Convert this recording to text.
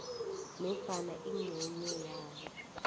nofana ingcenye yalo